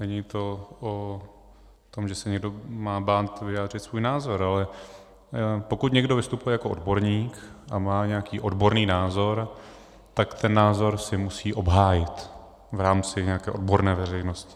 Není to o tom, že se někdo má bát vyjádřit svůj názor, ale pokud někdo vystupuje jako odborník a má nějaký odborný názor, tak ten názor si musí obhájit v rámci nějaké odborné veřejnosti.